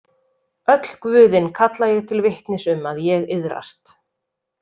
Öll guðin kalla ég til vitnis um að ég iðrast.